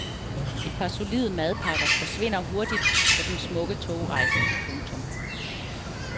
Et par solide madpakker forsvinder hurtigt på den smukke togrejse. punktum